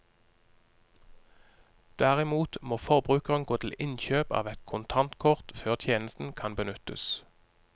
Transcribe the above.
Derimot må forbrukeren gå til innkjøp av et kontantkort før tjenesten kan benyttes.